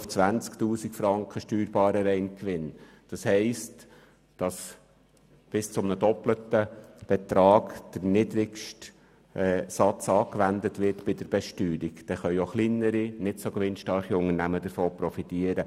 Damit wird bei der Besteuerung der niedrigste Satz bis zum doppelten Betrag angewendet, und davon können auch kleinere, nicht so gewinnstarke Unternehmen profitieren.